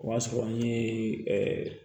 O y'a sɔrɔ an ye ɛɛ